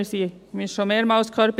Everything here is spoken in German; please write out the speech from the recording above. Wir haben es schon mehrmals gehört: